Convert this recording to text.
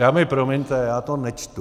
Dámy promiňte, já to nečtu.